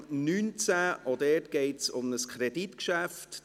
Auch hier geht es um ein Kreditgeschäft.